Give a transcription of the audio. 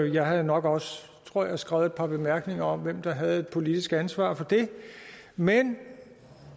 jeg havde nok også tror jeg skrevet et par bemærkninger om hvem der havde et politisk ansvar for det men